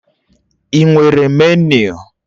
Ị nwere meniu?